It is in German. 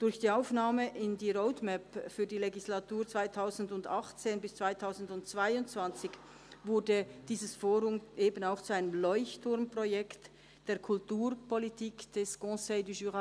Durch die Aufnahme in die Roadmap für die Legislatur 2018–2022 wurde dieses Forum eben auch zu einem Leuchtturmprojekt der Kulturpolitik des BJR.